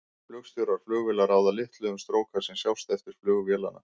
Flugstjórar flugvéla ráða litlu um stróka sem sjást eftir flug vélanna.